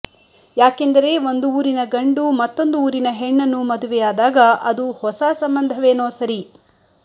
ಯಾಕೆಂದರೆ ಒಂದು ಊರಿನ ಗಂಡು ಮತ್ತೊಂದು ಊರಿನ ಹೆಣ್ಣನ್ನು ಮದುವೆಯಾದಾಗ ಅದು ಹೊಸ ಸಂಬಂಧವೇನೋ ಸರಿ